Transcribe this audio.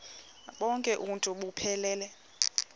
bonk uuntu buphelele